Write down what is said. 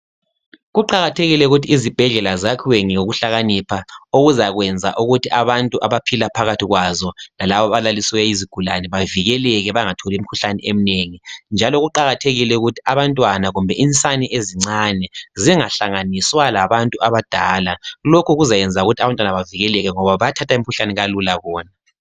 Kuqakathekile ukuthi izibhedlela zakhiwe ngokuhlakanipha. Okuzakwenza ukuthi abantu abaphila phakathi kwazo lalabo abalaliswe izigula bavikeleke bangatholi imikhuhlane eminengi njalo kuqakathekile ukuthi abantwana kumbe insane ezincane zingahlanganisa labantu abadala. Lokhu okuzakwenza ukuthi abantwana bavikeleke ngoba bayathatha imikhuhlane kalula.